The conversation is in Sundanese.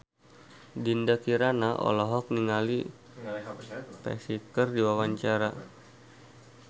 Dinda Kirana olohok ningali Psy keur diwawancara